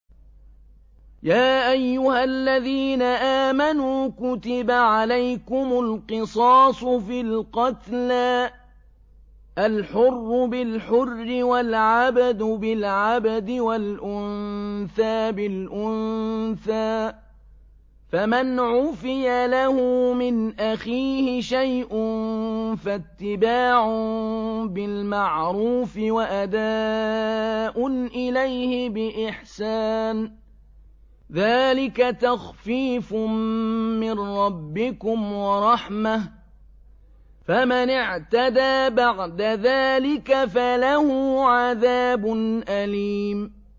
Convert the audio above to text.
يَا أَيُّهَا الَّذِينَ آمَنُوا كُتِبَ عَلَيْكُمُ الْقِصَاصُ فِي الْقَتْلَى ۖ الْحُرُّ بِالْحُرِّ وَالْعَبْدُ بِالْعَبْدِ وَالْأُنثَىٰ بِالْأُنثَىٰ ۚ فَمَنْ عُفِيَ لَهُ مِنْ أَخِيهِ شَيْءٌ فَاتِّبَاعٌ بِالْمَعْرُوفِ وَأَدَاءٌ إِلَيْهِ بِإِحْسَانٍ ۗ ذَٰلِكَ تَخْفِيفٌ مِّن رَّبِّكُمْ وَرَحْمَةٌ ۗ فَمَنِ اعْتَدَىٰ بَعْدَ ذَٰلِكَ فَلَهُ عَذَابٌ أَلِيمٌ